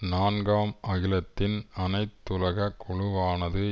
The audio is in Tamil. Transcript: நான்காம் அகிலத்தின் அனைத்துலக குழுவானது